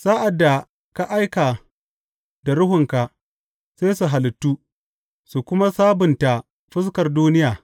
Sa’ad da ka aika da Ruhunka, sai su halittu, su kuma sabunta fuskar duniya.